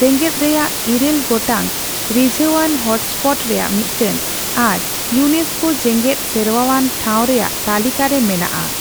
ᱡᱮᱸᱜᱮᱫᱨᱮᱭᱟᱜ ᱮᱨᱟᱹᱞ ᱜᱚᱴᱟᱝ ᱨᱤᱡᱷᱟᱹᱣᱟᱱ ᱦᱚᱴᱥᱯᱚᱴ ᱨᱮᱭᱟᱜ ᱢᱤᱫᱴᱟᱝ ᱟᱨ ᱤᱭᱩᱱᱮᱥᱠᱳ ᱡᱮᱸᱜᱮᱫ ᱥᱮᱨᱣᱟᱼᱟᱱ ᱴᱷᱟᱣ ᱨᱮᱭᱟᱜ ᱛᱟᱹᱞᱤᱠᱟ ᱨᱮ ᱢᱮᱱᱟᱜᱼᱟ ᱾